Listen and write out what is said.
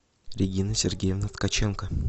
регина сергеевна ткаченко